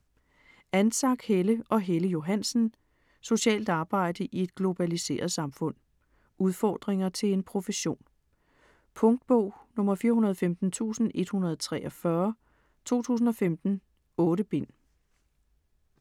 Antczak, Helle og Helle Johansen: Socialt arbejde i et globaliseret samfund Udfordringer til en profession. Punktbog 415143 2015. 8 bind.